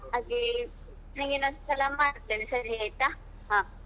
ಹಾಗೆ ನಿಂಗೆ ಇನ್ನೊಂದ್ಸಲ ಮಾಡ್ತೇನೆ ಸರಿ ಆಯ್ತಾ?